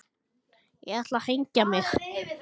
Settist fram á rúmstokkinn og fékk sér í nefið.